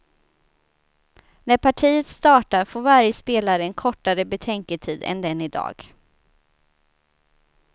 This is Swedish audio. När partiet startar får varje spelare en kortare betänketid än den idag.